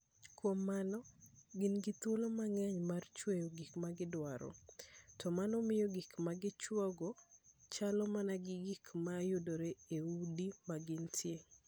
Kuom mano, gin gi thuolo mang'eny mar chweyo gik ma gidwaro, to mano miyo gik ma gichuogo chalo mana gi gik ma yudore e udi ma gintie.